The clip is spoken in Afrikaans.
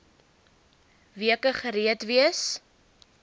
weke gereed wees